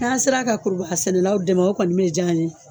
N'a' sera ka kurubaga sɛnɛlaw dɛmɛ o kɔni bɛ diy'an ye.